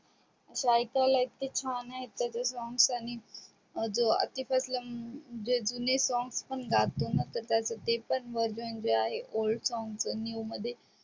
आशे ऐकायला इतके छान आहेत त्याचे song त्यांनी आतिफ अस्लम ते जुने song पण गातो ना तर त्याचा ते पण version जे आहे old song new मध्ये